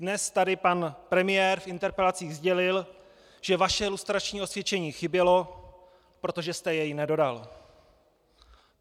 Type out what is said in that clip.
Dnes tady pan premiér v interpelacích sdělil, že vaše lustrační osvědčení chybělo, protože jste jej nedodal.